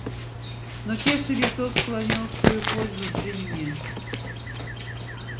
но чаша весов склонилась в твою пользу джинни